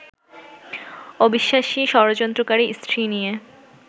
অবিশ্বাসী, ষড়যন্ত্রকারী স্ত্রী নিয়ে